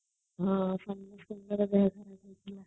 ହଁ ସମସ୍ତଙ୍କ ର ଦେହ ଖରାପ ହେଇଥିଲା |